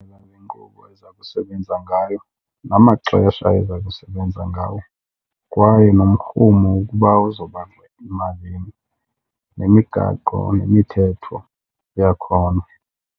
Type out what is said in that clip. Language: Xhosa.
Indlela le nkqubo eza kusebenza ngayo, namaxesha eza kusebenza ngawo kwaye nomrhumo ukuba uzawuba yimalini, nemigaqo nemithetho yakhona.